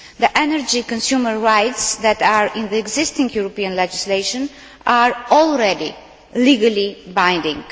The energy consumer rights that are in the existing European legislation are already legally binding.